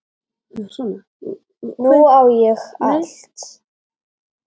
Nú á ég allt.